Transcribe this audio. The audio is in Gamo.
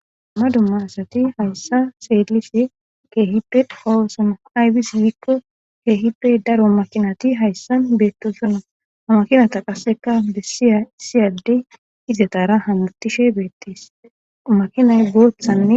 Dummaa dumma asati hayssa seellise keehippe qowosono aybisse gikko keehippe daro makinati hayssan beettosona haa makinata qasseka bessiya issiyaddey izatara hamutishe beettes makinay booththanne